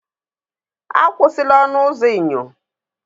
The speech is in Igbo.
Akwụsịla ọnụ ụzọ enyo!